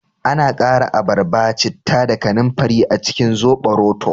Ana kara abarba, citta da kananfari a cikin zoɓoroto